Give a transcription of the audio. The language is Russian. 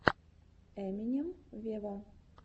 эминем вево